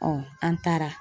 an taara